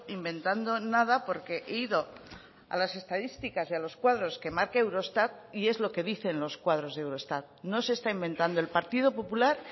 inventando nada porque he ido a las estadísticas y a los cuadros que marca eurostat y es lo que dicen los cuadros de eurostat no se está inventando el partido popular